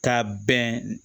Ka bɛn